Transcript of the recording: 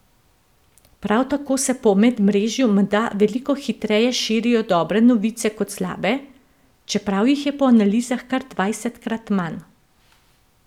Prav tako se po medmrežju menda veliko hitreje širijo dobre novice kot slabe, čeprav jih je po analizah kar dvajsetkrat manj.